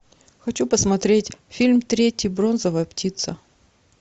хочу посмотреть фильм третий бронзовая птица